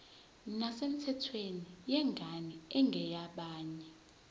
nesemthethweni yengane engeyabanye